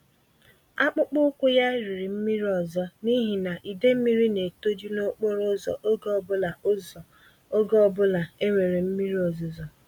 Akpụkpọ ụkwụ ya riri mmiri ọzọ n'ihi na idee mmírí n'etoju nokporo ụzọ ógè obula ụzọ ógè obula enwere mmiri ozuzo